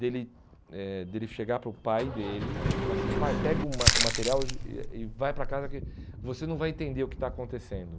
De ele eh de ele chegar para o pai dele e falar assim, pai, pega o ma o material e já e e vai para casa que você não vai entender o que está acontecendo.